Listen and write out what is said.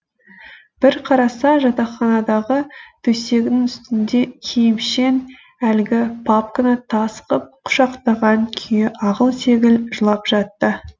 бір қараса жатақханадағы төсегінің үстінде киімшең әлгі папканы тас қып құшақтаған күйі ағыл тегіл жылап жатты